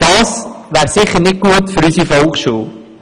Das wäre sicher nicht gut für unsere Volksschule.